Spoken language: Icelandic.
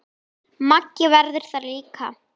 Maggi verður það líka.